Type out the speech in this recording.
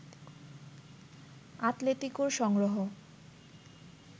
আতলেতিকোর সংগ্রহ